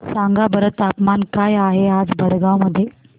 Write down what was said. सांगा बरं तापमान काय आहे आज भडगांव मध्ये